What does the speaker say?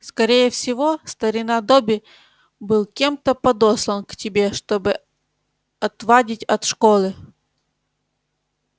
скорее всего старина добби был кем-то подослан к тебе чтобы отвадить от школы